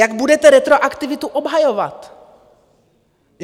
Jak budete retroaktivitu obhajovat?